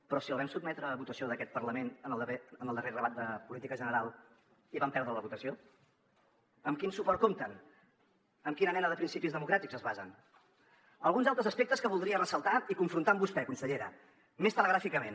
però si el vam sotmetre a votació d’aquest parlament en el darrer debat de política general i van perdre la votació amb quin suport compten en quina mena de principis democràtics es basen alguns altres aspectes que voldria ressaltar i confrontar amb vostè consellera més telegràficament